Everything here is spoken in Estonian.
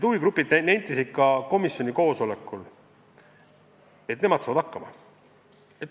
Huvigrupid nentisid komisjoni koosolekul, et nemad saavad hakkama.